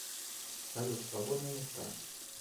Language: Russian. салют свободные места